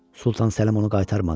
Sultan Səlim onu qaytarmadı.